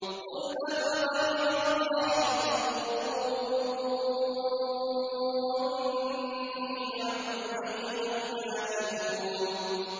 قُلْ أَفَغَيْرَ اللَّهِ تَأْمُرُونِّي أَعْبُدُ أَيُّهَا الْجَاهِلُونَ